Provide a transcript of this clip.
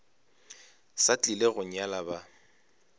sa tlile go nyala ba